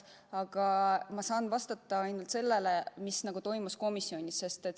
Aga ma saan vastata ainult sellele, mis toimus komisjonis.